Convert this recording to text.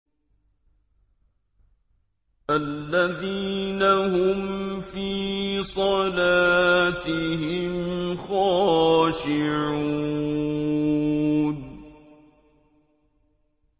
الَّذِينَ هُمْ فِي صَلَاتِهِمْ خَاشِعُونَ